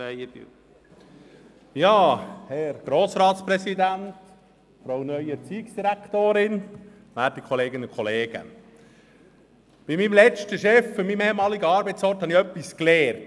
Von meinem früheren Chef an meinem ehemaligen Arbeitsort habe ich etwas gelernt.